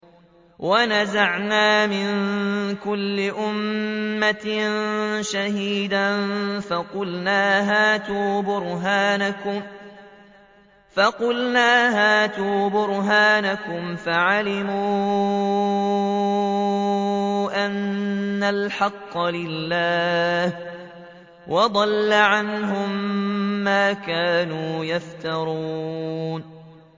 وَنَزَعْنَا مِن كُلِّ أُمَّةٍ شَهِيدًا فَقُلْنَا هَاتُوا بُرْهَانَكُمْ فَعَلِمُوا أَنَّ الْحَقَّ لِلَّهِ وَضَلَّ عَنْهُم مَّا كَانُوا يَفْتَرُونَ